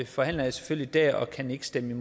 forhandler jeg selvfølgelig der og kan ikke stemme